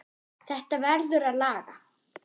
Þetta verður að laga.